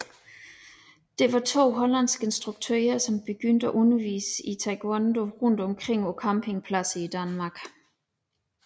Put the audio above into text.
Det var to hollandske instruktører som begyndte at undervise i Taekwondo rundt omkring på campingpladser i Danmark